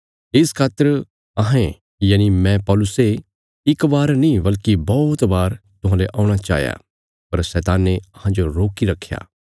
इस खातर अहें यनि मैं पौलुसे इक बार नीं बल्कि बौहत बार तुहांले औणा चाहया पर शैताने अहांजो रोकी रखया